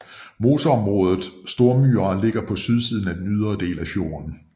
Moseområdet Stormyra ligger på sydsiden af den ydre del af fjorden